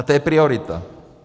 A to je priorita.